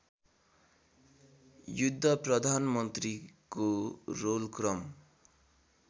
युद्ध प्रधानमन्त्रीको रोलक्रम